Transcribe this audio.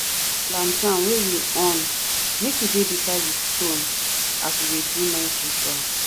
we go leave lantern wey we on make e dey beside di stone as we dey do night ritual.